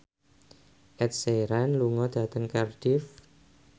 Ed Sheeran lunga dhateng Cardiff